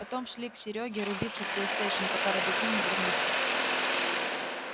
потом шли к серёге рубиться в плейстейшн пока родаки не вернутся